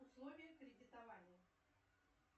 условия кредитования